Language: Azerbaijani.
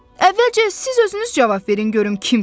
Əvvəlcə siz özünüz cavab verin görüm kimsiz.